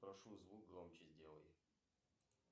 прошу звук громче сделай